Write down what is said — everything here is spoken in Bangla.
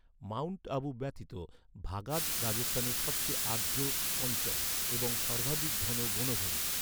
মাউন্ট আবু ব্যতীত, ভাগাদ রাজস্থানের সবচেয়ে আর্দ্র অঞ্চল এবং সর্বাধিক ঘন বনভূমি।